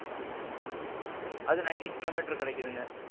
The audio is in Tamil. ம்ம். அது nineteen kilometers கிடைக்கிதுங்க.